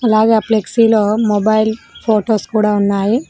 అలాగే ఆ ఫ్లెక్సీలో మొబైల్ ఫొటోస్ కూడా ఉన్నాయి.